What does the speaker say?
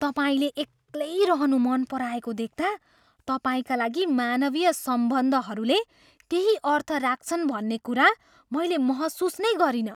तपाईँले एक्लै रहनु मन पराएको देख्ता, तपाईँका लागि मानवीय सम्बन्धहरूले केही अर्थ राख्छन् भन्ने कुरा मैले महसुस नै गरिनँ।